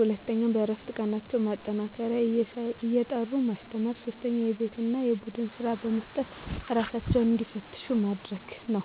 2 በእረፍት ቀናቸው ማጠናከሪያ እየጠሩ ማስተማር 3 የቤት እና የቡድን ስራ በመስጠት እራሳቸውን እንዲፈትሹ ማድረግ ነው